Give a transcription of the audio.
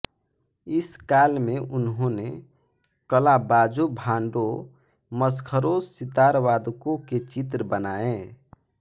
इस काल में उन्होंने कलाबाजों भांडों मसखरों सितारवादकों के चित्र बनाए